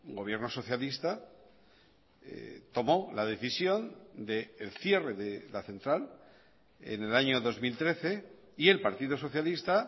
gobierno socialista tomó la decisión del cierre de la central en el año dos mil trece y el partido socialista